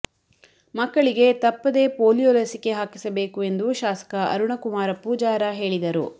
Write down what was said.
ಮಕ್ಕಳಿಗೆ ತಪ್ಪದೇ ಪೋಲಿಯೋ ಲಸಿಕೆ ಹಾಕಿಸಬೇಕು ಎಂದು ಶಾಸಕ ಅರುಣಕುಮಾರ ಪೂಜಾರ ಹೇಳಿದರು